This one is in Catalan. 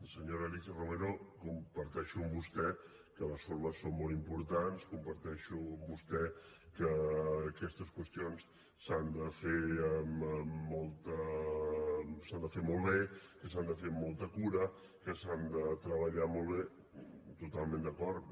senyora alícia romero comparteixo amb vostè que les formes són molt importants comparteixo amb vostè que aquestes qüestions s’han de fer molt bé que s’han de fer amb molta cura que s’han de treballar molt bé totalment d’acord